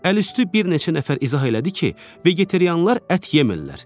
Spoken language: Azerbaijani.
Əlüstü bir neçə nəfər izah elədi ki, vegetarianlar ət yemirlər.